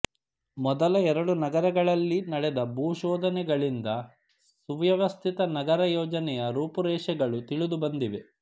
ಮೊದಲ ಎರಡು ನಗರಗಳಲ್ಲಿ ನಡೆದ ಭೂಶೋಧನೆಗಳಿಂದ ಸುವ್ಯವಸ್ಥಿತ ನಗರಯೋಜನೆಯ ರೂಪುರೇಷೆಗಳು ತಿಳಿದುಬಂದಿವೆ